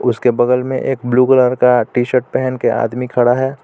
उसके बगल में एक ब्लू कलर का टी-शर्ट पहनके आदमी खड़ा है.